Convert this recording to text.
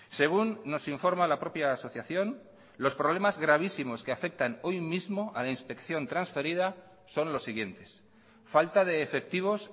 según nos informa la propia asociación los problemas gravísimos que afectan hoy mismo a la inspección transferida son los siguientes falta de efectivos